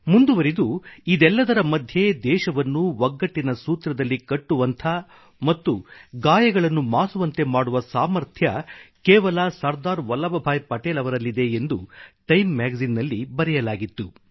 ಮುಂದುವರಿದು ಇದೆಲ್ಲದರ ಮಧ್ಯೆ ದೇಶವನ್ನು ಒಗ್ಗಟ್ಟಿನ ಸೂತ್ರದಲ್ಲಿ ಕಟ್ಟುವಂಥ ಮತ್ತು ಗಾಯಗಳನ್ನು ಮಾಸುವಂತೆ ಮಾಡುವ ಸಾಮರ್ಥ್ಯ ಕೇವಲ ಸರ್ದಾರ್ ವಲ್ಲಭ್ಭಾಯಿ ಪಟೇಲ್ ಅವರಲ್ಲಿದೆ ಎಂದು ಟೈಮ್ ಮ್ಯಾಗಜಿನ್ ನಲ್ಲಿ ಬರೆಯಲಾಗಿತ್ತು